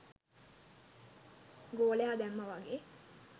ගෝලයා දැම්මා වගේ